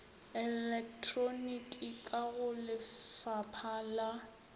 elektroniki ka go lefapha la